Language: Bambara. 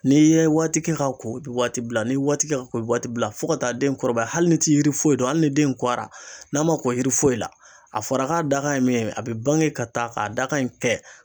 N'i yɛ waati kɛ ka ko i bɛ waati bila ni yɛ waati ko i be waati bila fɔ ka taa den kɔrɔbaya hali ni ti yiri foyi dɔn hali ni den in kɔra n'a ma ko yiri foyi la a fɔra k'a dakan ye min ye a be bange ka taa k'a dakan in kɛ